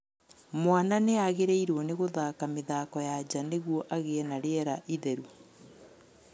Mwana nĩagĩrĩirwo nĩ gũthaka mĩthako ya nja nĩguo agĩe na rĩera itheru